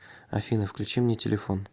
афина включи мне телефон